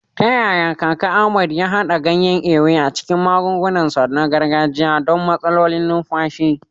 Ta yaya kaka Ahmed ya haɗa ganyen Ewe a cikin magungunansa na gargajiya don matsalolin numfashi?